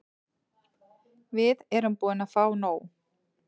Við erum búin að fá nóg.